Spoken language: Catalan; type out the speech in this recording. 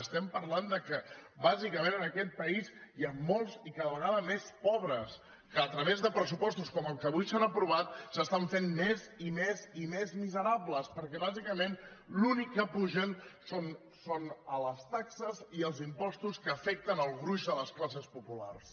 estem parlant que bàsicament en aquest país hi han molts i cada vegada més pobres que a través de pressupostos com els que avui s’han aprovat s’estan fent més i més i més miserables perquè bàsicament l’únic que pugen són les taxes i els impostos que afecten el gruix de les classes populars